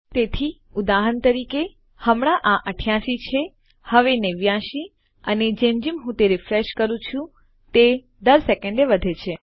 તેથી ઉદાહરણ તરીકે હમણાં આ 88 છે હવે 89 અને જેમ જેમ હું તે રીફ્રેશ કરું તે દર સેકન્ડે વધે છે